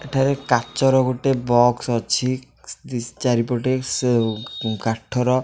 ଏଠାରେ କାଚର ଗୋଟେ ବକ୍ସ ଅଛି ଦି ଚାରିପଟେ ସେ କାଠର --